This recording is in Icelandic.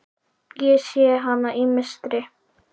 Ég sé hana í mistri.